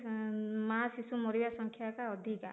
ଅମ ମା ଶିଶୁ ମରିବା ସଂଖ୍ୟା ଟା ଅଧିକା